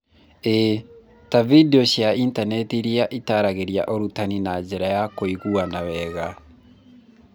ĩĩ, ta vidiũ cia intaneti iria itaragĩrĩa ũrutani na njĩra ya kũiguana wega